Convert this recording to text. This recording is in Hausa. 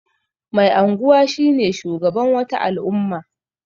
Mai anguwa shine shugaban wata al'umma.